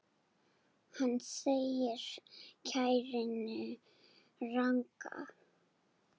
Hann segir kæruna ranga.